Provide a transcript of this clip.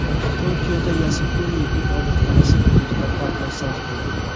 Tokiodagi Yasukuni ibodatxonasi hududida portlash sodir bo‘ldi.